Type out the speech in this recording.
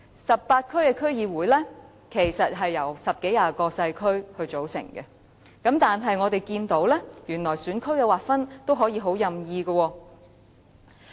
十八區區議會是由十多二十個細區組成，但我們發現選區的劃分原來也是相當任意的。